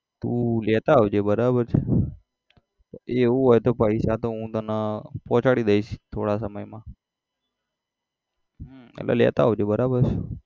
તું લેતા આવજે બરાબર છે એવું હોય તો પૈસા તો હું તને પહુંચાડી દઈશ થોડા સમયમાં હમ એટલે લેતા આવજે બરાબર